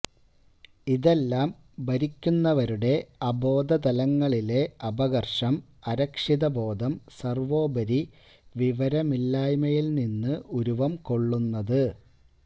ഇതെല്ലാം ഭരിക്കുന്നവരുടെ അബോധതലങ്ങളിലെ അപകർഷം അരക്ഷിതബോധം സർവോപരി വിവരമില്ലായ്മയിൽനിന്ന് ഉരുവം കൊള്ളുന്നത്